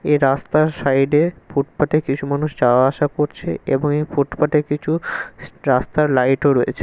এই রাস্তার সাইডে ফুটপাতে কিছু মানুষ যাওয়া আসা করছে। এবং এই ফুটপাতে কিছু রাস্তার লাইট ও রয়েছে।